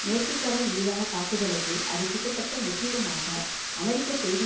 மேற்குக்கரை மீதான தாக்குதலுக்கு அது கிட்டத்தட்ட முற்றிலுமாக அமெரிக்க செய்தி